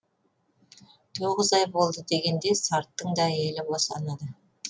тоғыз ай болды дегенде сарттың да әйелі босанады